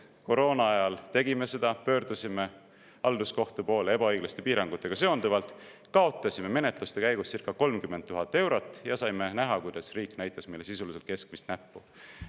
Koroonaajal me tegime seda, pöördusime halduskohtu poole ebaõiglaste piirangutega seonduvalt, kaotasime menetluste käigus circa 30 000 eurot ja saime näha, kuidas riik näitas meile sisuliselt keskmist näppu.